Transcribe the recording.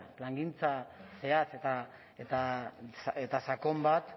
plangintza zehatz eta sakon bat